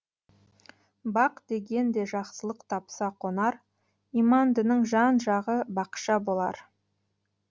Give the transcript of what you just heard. бақ деген де жақсылық тапса қонар имандының жан жағы бақша болар